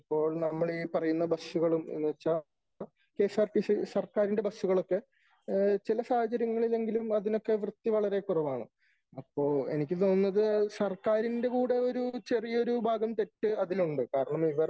ഇപ്പോൾ നമ്മൾ ഈ പറയുന്ന ബസുകളും എന്ന് വച്ചാ K S R T C സർക്കാരിന്റെ ബസുകളൊക്കെ ചില സാഹചര്യങ്ങളിലെങ്കിലും അതിനൊക്കെ വൃത്തി വളരെ കുറവാണ് . അപ്പോ എനിക്ക് തോന്നുന്നത് സർക്കാരിന്റെ കൂടെ ചെറിയ ഒരു ഭാഗം തെറ്റ് അതിലുണ്ട് . കാരണം ഇവർ